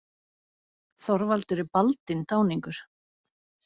Þorvaldur er baldinn táningur.